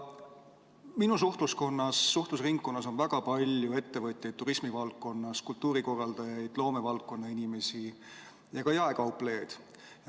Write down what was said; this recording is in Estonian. Minu suhtlusringkonnas on väga palju turismivaldkonna ettevõtjaid, kultuurikorraldajaid, loomevaldkonna inimesi ja jaekauplejaid.